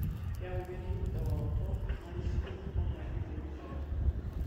Keeku keeti eoroto narisio oo mali te wilaya